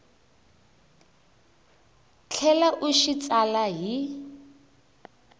tlhela u xi tsala hi